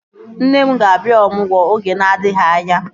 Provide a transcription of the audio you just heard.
Nne m ga-abịa ọmụgwọ oge na-adịghị anya